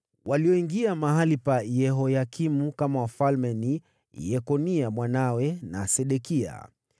Walioingia mahali pa Yehoyakimu kama wafalme ni: Yekonia mwanawe, na Sedekia.